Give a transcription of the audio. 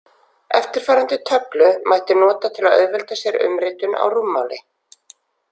Eftirfarandi töflu mætti nota til að auðvelda sér umritun á rúmmáli.